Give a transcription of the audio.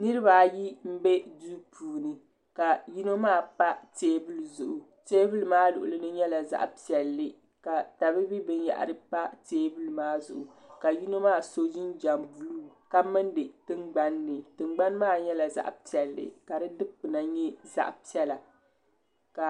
Niriba ayi m be duu puuni ka yino maa pa teebuli zuɣu teebuli maa luɣulini nyɛla zaɣa piɛlli ka tabibi binyahari pa teebuli maa zuɣu ka yino maa so jinjiɛm buluu ka mindi tingbanni tingbani maa nyɛla zaɣa piɛlli ka di dikpina nyɛ zaɣa piɛla.